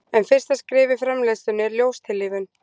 En fyrsta skref í framleiðslunni er ljóstillífun.